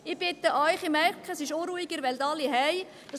Ich bitte Sie – ich merke, es ist unruhig, Sie wollen alle nach Hause;